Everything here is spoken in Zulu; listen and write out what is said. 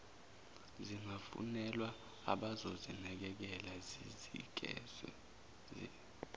zingafunelwa abazozinakekela zinikezwe